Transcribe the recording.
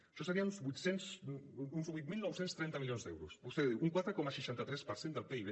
això serien uns vuit mil nou cents i trenta milions d’euros vostè diu un quatre coma seixanta tres per cent del pib